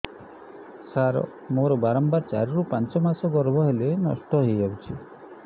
ସାର ମୋର ବାରମ୍ବାର ଚାରି ରୁ ପାଞ୍ଚ ମାସ ଗର୍ଭ ହେଲେ ନଷ୍ଟ ହଇଯାଉଛି